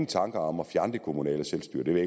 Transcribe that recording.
tanker om at fjerne det kommunale selvstyre det ved